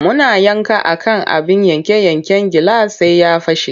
Muna yanka a kan abin yanke-yanken gilas sai ya fashe.